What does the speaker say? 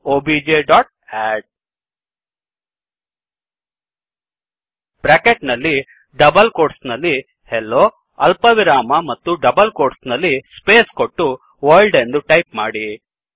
OBJ dot add bracket ನಲ್ಲಿ double quotes ನಲ್ಲಿHello ಅಲ್ಪವಿರಾಮ ಮತ್ತೆ ಡಬಲ್ ಕೋಟ್ಸ್ ನಲ್ಲಿ ಸ್ಪೇಸ್ ಕೊಟ್ಟು ವರ್ಲ್ಡ್ ಎಂದು ಟೈಪ್ ಮಾಡಿ